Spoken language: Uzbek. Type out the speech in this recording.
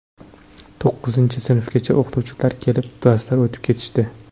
To‘qqizinchi sinfgacha o‘qituvchilari kelib, darslar o‘tib ketishdi.